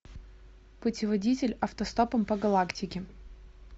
путеводитель автостопом по галактике